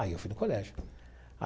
Aí eu fui no colégio.